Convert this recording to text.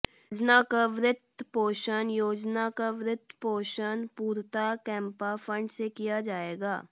योजना का वित्त पोषण योजना का वित्त पोषण पूर्णतः कैम्पा फण्ड से किया जायेगा